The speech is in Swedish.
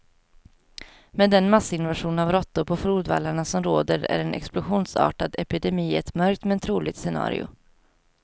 Med den massinvasion av råttor på flodvallarna som råder är en explosionsartad epidemi ett mörkt, men troligt scenario.